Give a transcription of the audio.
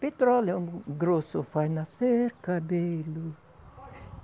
Petróleo grosso faz nascer cabelo.